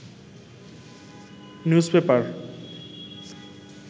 news paper